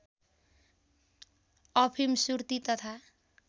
अफिम सुर्ती तथा